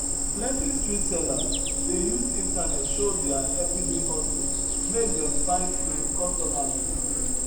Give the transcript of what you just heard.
plenty street sellers dey use internet show deir every day hustle make dem find um customers um